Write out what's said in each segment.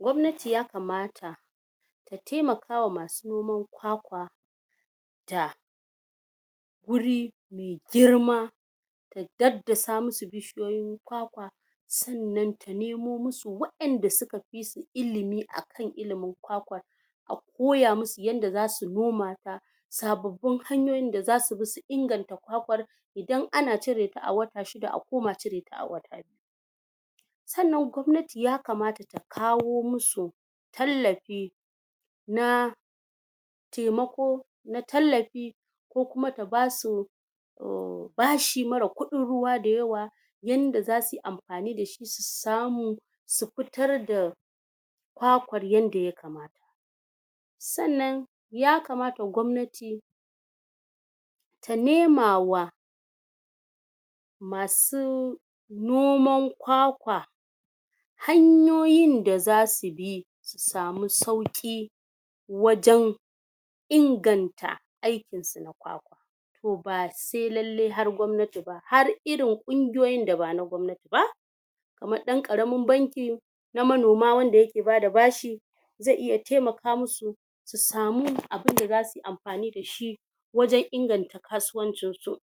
Gwannati ya kamata ta taimakama ma masu noman kwakwa da guri mai girma ta daddasa musu bishiyoyin kwakwa sannan da nemo musu wa'anda suka fiso ilimi akan ilimin kwakwan a koya musu yanda zasu noma ta sabbabi hanyoyin da zasu bi su inganta kwakwan idan ana cire a wata shida akoma cire ta a wata biyu sannan gwannati ya kamata ta kawo musu tallafi na taimako na tallafi kokuma ta basu bashi mara kudin ruwa da yawa yanda zasuyi amfani dashi su samo su fitar da kwakar ynada ya kamata sannan ya kamata gomnnati ta nema wa masu noman kwakwa hanyoyin da zasu bi su sama sauki wajen inganta aikin su na kwakwa to, ba balle sa gomnnati ba, har irin kungiyoyin da bana gomnnati ba kaman dan Ƙaramin banki na manoma wanda ake bada bashi zai iya taimaka musu su samu abinda zasuyi amfani dashi wsen inganta kasuwancinsu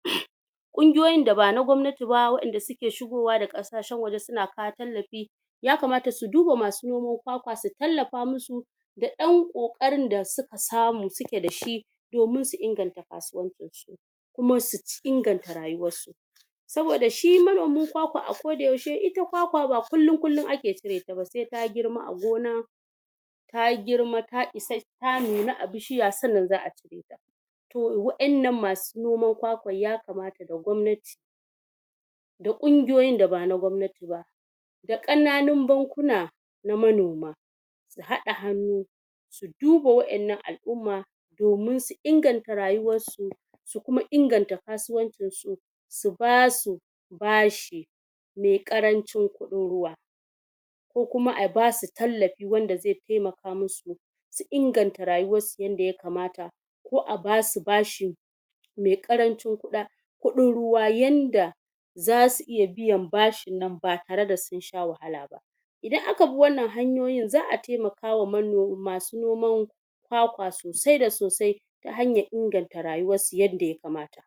kungiyoyin da bana na gomnnati ba, wanda suke shigowa daga Ƙasashen aje suna kawo tallafi ya kamata su duba masu noman kwakwa su tallafa musu da yan Ƙokarin da suka samu suke dashi domin su inganta kasuwancin su kuma su inganta rayuwarsu saboda shi manomin kwakwa a k da yaushe ita kwakwa ba kullun kullun ake cire ta ba sai ta girma a gona ta girma ta isa... ta nuna a bishiya sannan za'a cire to wa'annan masu noman kwakwa ya kamat da gwamnati da Ƙungioyin da bana gomnati ba da Ƙananun bankuna na manoma su hada hannu su duba wa'annan alumma domin su inganta rayuwarsu su kuma inganta kasuwancinsu su basu bashi mai Ƙarancin kudin ruwa kokuma a basu tallafi wanda zai taimaka musu su inganta rayuwar su yanda ya kamata ko a basu bashi mai Ƙarancin kuda... kudin ruwa yanda zasu iya biyan bashin nan ba tare da sun sha wahala ba idan aka bi wanna hanyoyin za'a taimaka ma mano... masu noman kwakwa kwakwa sosai da sosai ta hanyar inganta rauwarsu yanda ya kamata